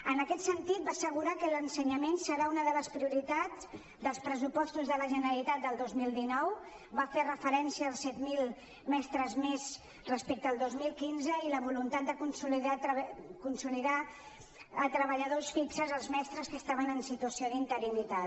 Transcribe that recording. en aquest sentit va assegurar que l’ensenyament serà una de les prioritats dels pressupostos de la generalitat del dos mil dinou va fer referència als set mil mestres més respecte al dos mil quinze i la voluntat de consolidar com a treballadors fixos els mestres que estaven en situació d’interinitat